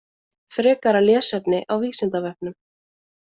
Frekara lesefni á Vísindavefnum.